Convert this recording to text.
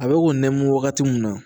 A bɛ k'o nɛmu wagati mun na